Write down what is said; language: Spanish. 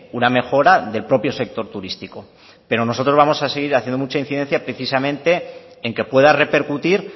una mejora del propio sector turístico pero nosotros vamos a seguir haciendo mucha incidencia precisamente en que pueda repercutir